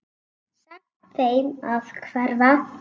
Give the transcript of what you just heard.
Sagt þeim að hverfa.